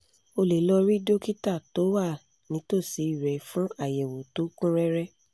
o lè lọ rí dókítà tó wà nítòsí rẹ fún àyẹ̀wò tó kún rẹ́rẹ́